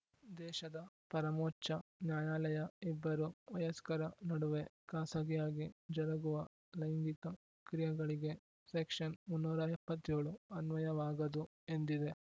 ದೇಶದ ಪರಮೋಚ್ಚ ನ್ಯಾಯಾಲಯ ಇಬ್ಬರು ವಯಸ್ಕರ ನಡುವೆ ಖಾಸಗಿಯಾಗಿ ಜರುಗುವ ಲೈಂಗಿಕ ಕ್ರಿಯೆಗಳಿಗೆ ಸೆಕ್ಷನ್‌ ಮುನ್ನೂರ ಎಪ್ಪತ್ತ್ ಏಳು ಅನ್ವಯವಾಗದು ಎಂದಿದೆ